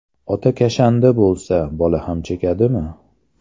Ota kashanda bo‘lsa, bola ham chekadimi?